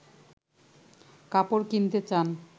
কাপড় কিনতে চান